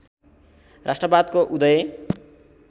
राष्ट्रवादको उदय